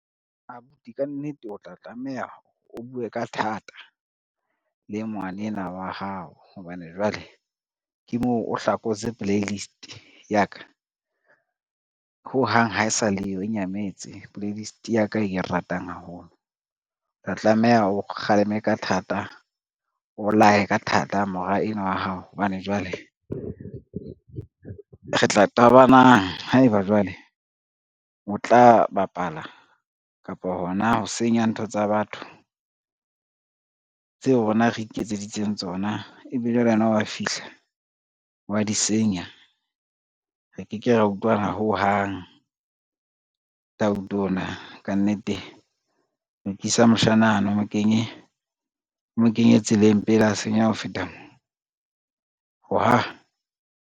Abuti ka nnete o tla tlameha o bue ka thata le ngwanenwa wa hao hobane jwale, ke moo o hlakotse playlist ya ka, ho hang ha e sa le yo nyametse playlist ya ka e ke e ratang haholo. Re tlameha o kgaleme ka thata, o laye ka thata mora enwa wa hao, hobane jwale re tla qabanang haeba jwale o tla bapala kapa hona ho senya ntho tsa batho, tseo rona re iketseditseng tsona ebe jwale yena wa fihla wa di senya, re ke ke ra utlwana ho hang ona. Ka nnete lokisa moshana ane o mo kenye tseleng pele a senyeha ho feta mo .